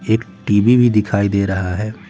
एक टी_वी भी दिखाई दे रहा है।